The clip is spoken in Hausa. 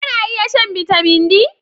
Kana iya shan Bitamin D?